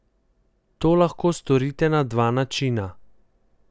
To lahko storite na dva načina.